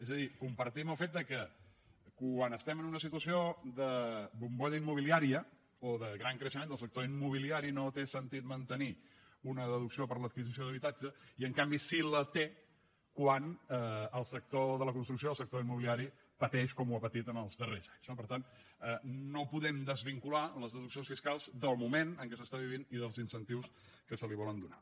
és a dir compartim el fet que quan estem en una situació de bombolla immobiliària o de gran creixement del sector immobiliari no té sentit mantenir una deducció per l’adquisició d’habitatge i en canvi sí que en té quan el sector de la construcció o el sector immobiliari pateix com ha patit en els darrers anys no per tant no podem desvincular les deduccions fiscals del moment en què s’està vivint i dels incentius que s’hi volen donar